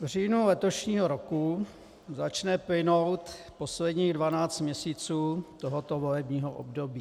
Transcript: V říjnu letošního roku začne plynout posledních dvanáct měsíců tohoto volebního období.